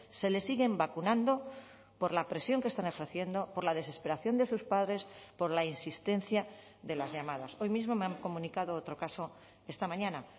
se les siguen vacunando por la presión que están ejerciendo por la desesperación de sus padres por la insistencia de las llamadas hoy mismo me han comunicado otro caso esta mañana